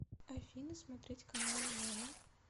афина смотреть каналы нано